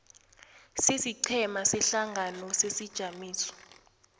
sesiqhema sehlangano sesijamiso